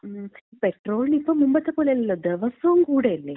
പെട്രോളിനിപ്പം മുമ്പത്തെ പോലെയല്ലല്ലോ ദെവസോം കൂടല്ലേ.